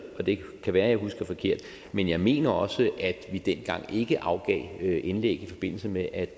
og det kan være jeg husker forkert men jeg mener også at vi dengang ikke afgav indlæg i forbindelse med at